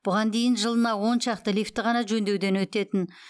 бұған дейін жылына он шақты лифтіні ғана жөндеуден өтетін